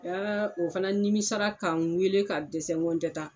o fɛnɛ nimisara k'a n weele ka dɛsɛ ŋo n tɛ ta.